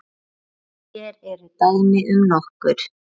Hér eru dæmi um nokkur